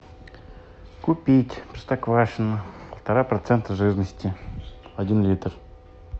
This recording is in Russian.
купить простоквашино полтора процента жирности один литр